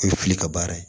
I bɛ fili ka baara ye